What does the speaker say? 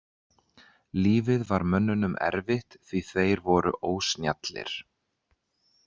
Lífið var mönnunum erfitt því þeir voru ósnjallir.